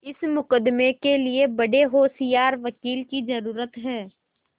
इस मुकदमें के लिए बड़े होशियार वकील की जरुरत है